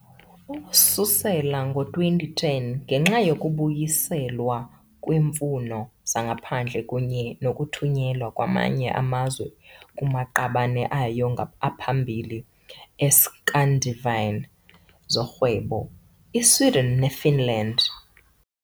ukususela ngo-2010, ngenxa yokubuyiselwa kweemfuno zangaphandle kunye nokuthunyelwa kwamanye amazwe kumaqabane ayo aphambili e-Scandinavian zorhwebo, i-Sweden ne- Finland .